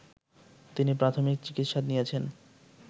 তিনি প্রাথমিক চিকিৎসা নিয়েছেন